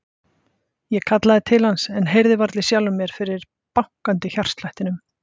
Ég kallaði til hans en heyrði varla í sjálfri mér fyrir bankandi hjartslættinum.